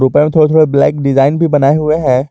थोड़े थोड़े black design भी बनाए हुए हैं।